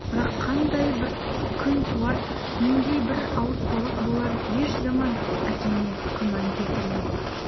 бірақ қандай бір күн туар нендей бір ауыртпалық болар еш заман әкеңе күмән келтірме